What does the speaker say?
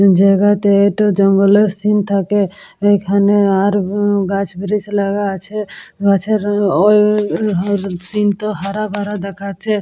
জায়গাতে একটু জঙ্গলের সিন থাকে এখানে আর গাছ ব্রিচ লাগা আছে গাছের ওই সিন টো হারা ভরা দেখাচ্ছে।